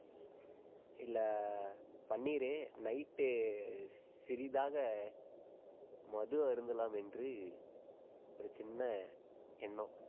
இல்லை, பண்ணிரு night உ சிறிதாக மது அருந்தலாம் என்று ஒரு சின்ன எண்ணம்.